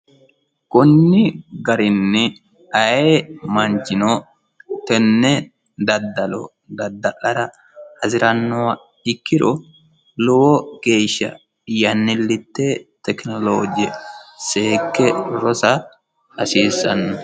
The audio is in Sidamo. konni garinni ayee manchino tenne daddalo dadda'lara hasirannoha ikkiro lowo geeshsha yannillite tekinoloje seekke rosa hasiissanno.